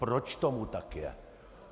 Proč tomu tak je?